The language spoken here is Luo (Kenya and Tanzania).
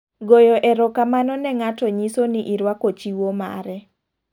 Goyo ero kamano ne ng'ato nyiso ni iruako chiwo mare.